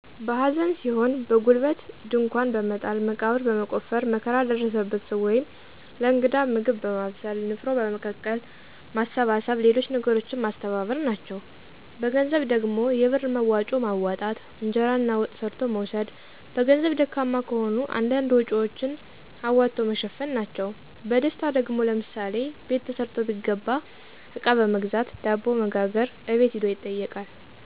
በሐዘን ሲሆን በጉልበት ድንኳን በመጣል መቃብር በመቆፈር መከራ ለደረሰበት ሰዉ ወይም ለእንግዳ ምግብ በማብሰል፣ ንፍሮ በመቀቀል፣ ማሰባሰብ ሌሎች ነገሮችን ማስተባበር፣ ናቸዉ። በገንዘብ ደግሞ የብር መዋጮ ማዋጣት፣ እንጀራና ወጥ ሰርቶ መውሰድ በገንዘብ ደካማ ከሆኑ አንዳንድ ወጭወችን አዋቶ መሸፈን ናቸዉ። በደስታ ደግሞ፦ ለምሳሌ በት ተሰርቶ ቢገባ አቃ በመግዛት፣ ዳቦ በመጋገር፣ አቤት ሂዶ ይጠይቃል።